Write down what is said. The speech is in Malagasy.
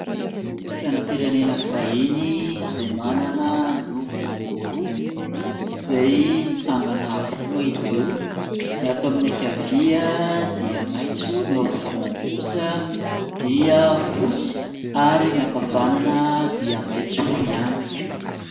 Sainam-pirenena vahiny izay manana loko roa izay mitsangana avokoa izy ireo. Ny ato amin'ny ankavia dia maitso, ny ampovoany kosa dia fotsy, ary ny ankavanana dia maitso ihany koa.